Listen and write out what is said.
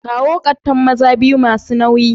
Kawo kattan maza biyu masu nauyi.